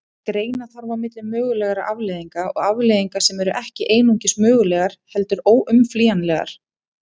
Greina þarf á milli mögulegra afleiðinga og afleiðinga sem eru ekki einungis mögulegar heldur óumflýjanlegar.